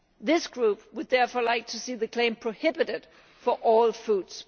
This group would therefore like to see the claim prohibited for all foods.